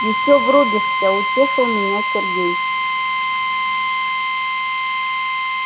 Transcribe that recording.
ещё врубишься утешил меня сергей